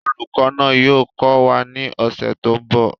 Olùkọ́ náà yóò kọ́ wa ní ọ̀sẹ̀ tó ń bọ̀